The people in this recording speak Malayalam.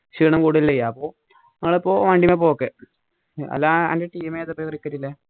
ക്ഷീണം കൂടല്ലേ ചെയ്യാ അപ്പൊ ഞങ്ങൾ ഇപ്പൊ വണ്ടീലാ പോക്ക് അല്ലാ എന്ടെ team ഏതാ